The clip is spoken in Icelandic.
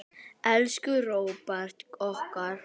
Elsku Róbert okkar.